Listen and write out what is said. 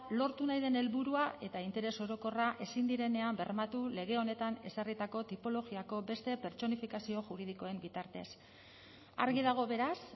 lortu nahi den helburua eta interes orokorra ezin direnean bermatu lege honetan ezarritako tipologiako beste pertsonifikazio juridikoen bitartez argi dago beraz